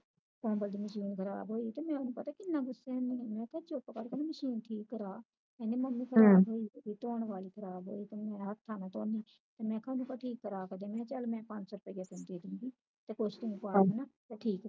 ਉਹਦਾ ਦੀ Mechine ਖ਼ਰਾਬ ਹੋਈ ਤੇ ਮੈਂ ਉਹਨੂੰ ਪਤਾ ਕਿੰਨਾ ਗੁੱਸੇ ਹੁੰਦੀ ਆ ਮੈਂ ਕਿਹਾ ਚੁੱਪ ਕਰਕੇ Mechine ਠੀਕ ਕਰਵਾ ਕਹਿੰਦੀ Mummy ਖ਼ਰਾਬ ਹੋਈ ਪਾਈ ਧੋਣ ਵਾਲੀ ਧੋਣ ਵਾਲੀ ਤੇ ਮੈਂ ਹੱਥਾਂ ਨਾਲ ਧੌਣੀ ਆ ਤੇ ਕਿਹਾ ਉਹਨੂੰ ਕਹਿ ਠੀਕ ਕਰਵਾ ਕੇ ਦੇ ਮੈਂ ਚੱਲ ਪੰਜ ਸੌ ਰੁਪਇਆ ਤੈਨੂੰ ਦੇ ਦੂਗੀ ਤੇ ਕੁਝ ਕ ਤੂੰ ਪਾ ਲੈਣਾ ਤੇ ਠੀਕ ਕਰਵਾ